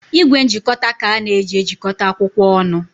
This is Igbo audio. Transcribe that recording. Igwe njikọta ka a na-eji ejikọta akwụkwọ ọnụ.